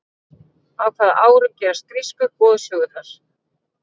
á hvaða árum gerast grísku goðsögurnar